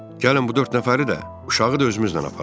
Gəlin bu dörd nəfəri də, uşağı da özümüzlə aparaq.